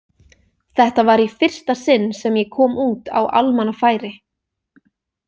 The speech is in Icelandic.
Þetta var í fyrsta sinn sem ég kom út á almannafæri.